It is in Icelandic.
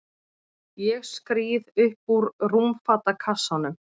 Ég skríð upp úr rúmfatakassanum.